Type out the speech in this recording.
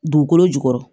Dugukolo jukɔrɔ